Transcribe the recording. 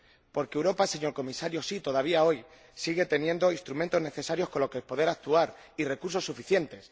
Porque Europa, señor Comisario, sí, todavía hoy sigue teniendo los instrumentos necesarios con los que poder actuar y recursos suficientes.